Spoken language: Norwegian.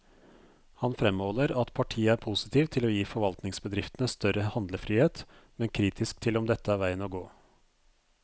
Han fremholder at partiet er postiv til å gi forvaltningsbedriftene større handlefrihet, men kritisk til om dette er veien å gå.